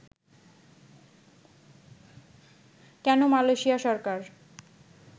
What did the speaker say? কেন মালয়েশিয়া সরকার